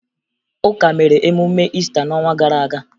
Ụka mere emume Iista n'ọnwa gara aga